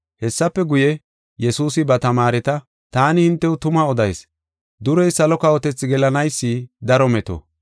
Hessafe guye, Yesuusi ba tamaareta, “Taani hintew tuma odayis; durey salo kawotethi gelanaysi daro meto.